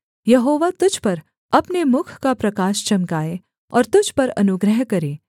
यहोवा तुझ पर अपने मुख का प्रकाश चमकाए और तुझ पर अनुग्रह करे